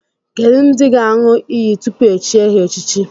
Kedụ ndị ga-aṅụ iyi tupu e chie ha echichi?